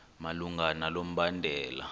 malunga nalo mbandela